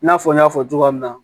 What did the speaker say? I n'a fɔ n y'a fɔ cogoya min na